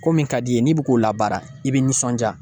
Ko min ka d'i ye n'i bɛ k'o la baara i bɛ nisɔndiya.